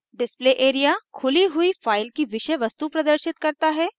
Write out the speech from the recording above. display area खुली हुई file की विषयवस्तु प्रदर्शित करता है